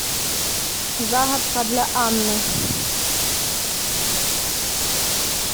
загадка для анны